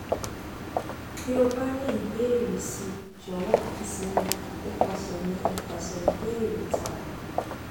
bi o ba ni ibeere si jowo kan si mi nipase mi nipase ibeere taara